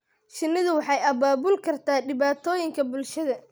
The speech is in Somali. Shinnidu waxay abaabuli kartaa dhibaatooyinka bulshada.